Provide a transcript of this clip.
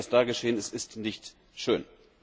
Also das, was da geschehen ist, ist nicht schön.